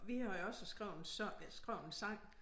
Vi havde også skrevet en sang skrevet en sang